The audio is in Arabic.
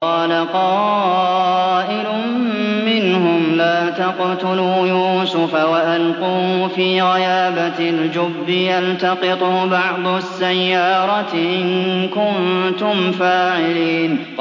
قَالَ قَائِلٌ مِّنْهُمْ لَا تَقْتُلُوا يُوسُفَ وَأَلْقُوهُ فِي غَيَابَتِ الْجُبِّ يَلْتَقِطْهُ بَعْضُ السَّيَّارَةِ إِن كُنتُمْ فَاعِلِينَ